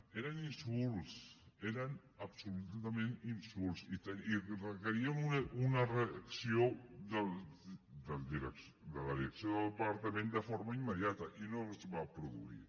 eren insults eren absolutament insults i requerien una reacció de la direcció del departament de forma immediata i no es va produir